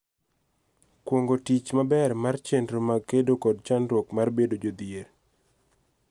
Kuong�o tich maber mar chenro mag kedo kod chandruok mar bedo jodhier.